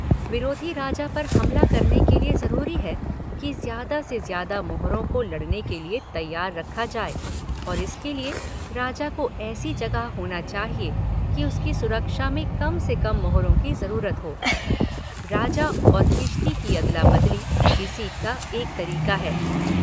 विरोधी राजा पर हमला करने के लिए ज़रूरी है कि ज़्यादा से ज़्यादा मोहरों को लड़ने के लिए तैयार रखा जाए और इसके लिए राजा को ऐसी जगह होना चाहिए कि उसकी सुरक्षा में कम से कम मोहरों की ज़रूरत हो – राजा और किश्ती की अदला-बदली इसका एक तरीका है।